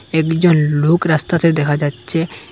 একজন লোক রাস্তাতে দেখা যাচ্ছে।